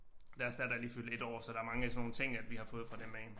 Deres datter er lige fyldt 1 år så der mange af sådan nogle ting at vi har fået fra dem af